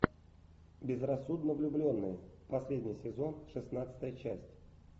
безрассудно влюбленные последний сезон шестнадцатая часть